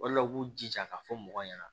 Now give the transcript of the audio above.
O de la u k'u jija ka fɔ mɔgɔw ɲɛna